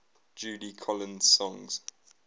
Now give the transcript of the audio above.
judy collins songs